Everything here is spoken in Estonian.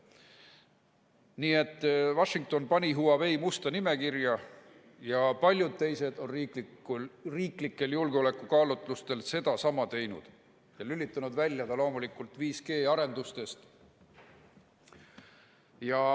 Nii et Washington pani Huawei musta nimekirja ja paljud teised on riiklikel julgeolekukaalutlustel sedasama teinud ning lülitanud ta välja loomulikult ka 5G-arendustest.